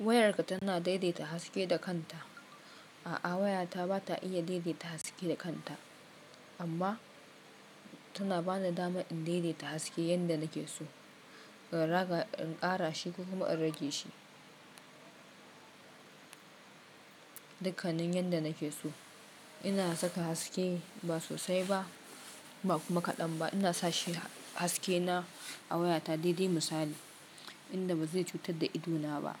Wayarka tana daidaita haske da kanta. A'a waya ta ba ta iya daidaita haske da kanta amma tana bani dama in daidaita haske yadda nake so. In ƙara shi kuma in rage shi. Dukannin yadda nake so. Ina saka haske ba sosai ba, ba kuma kaɗan ba. Ina sa haske na a waya ta daidai misali inda ba zai cutar da ido na ba.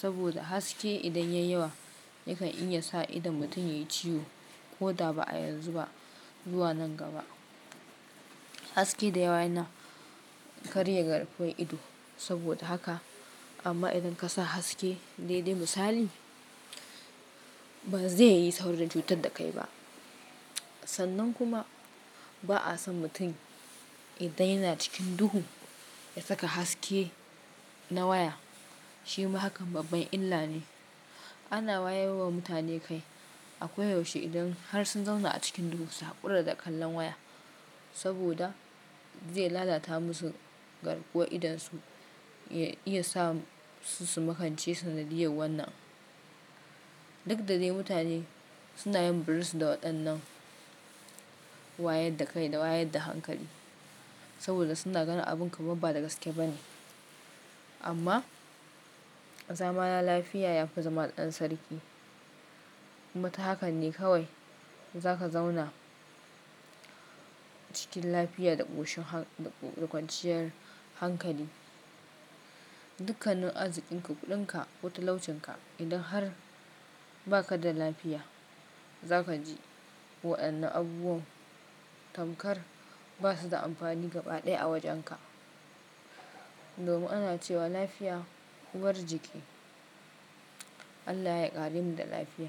Saboda haske idan ya yi yawa yakan iya sa idon mutum ya yi ciwo ko da ba a yanzu ba zuwa nan gaba. Hasake da yawa yana karya garkuwar ido saboda haka. Amma idan ka sa haske daidai misali ba zai yi saurin cutar da kai ba. Sannan kuma ba'a son mutum idan yana cikin duhu ya saka haske na waya. Shi ma hakan babban illa ne. Ana wayarwa mutane kai a koyaushe idan har sun zauna a cikin duhu su haƙura da kallon waya saboda zai lalata musu garkuwa idan su ya iya sa su makance sanadiyar wannan. Duk da dai mutane suna yin birin su da waɗannan wayar da kai da wayar da hankali saboda suna ganin abun ka babba da gaske ba ne. Amma zamana lafiya ya fi zamani ɗan sarki. Kuma ta hakane kawai za ka zauna cikin lafiya da ƙoshin ƙwanciyar hankali. Dukannin azikin ka, kuɗin ka wuta laucen ka idan har baka da lafiya za ka ji waɗannan abubuwan tamkar ba su da amfani gaba ɗaya a wajen ka. Domin ana cewa lafiya uwar jiki. Allah ya ƙare mu da lafiya.